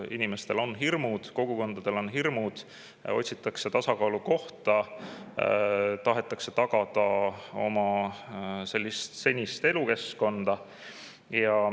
Inimestel on hirmud, kogukondadel on hirmud, otsitakse tasakaalukohta, tahetakse oma senist elukeskkonda.